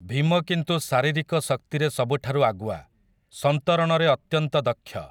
ଭୀମ କିନ୍ତୁ ଶାରୀରିକ ଶକ୍ତିରେ ସବୁଠାରୁ ଆଗୁଆ, ସନ୍ତରଣରେ ଅତ୍ୟନ୍ତ ଦକ୍ଷ ।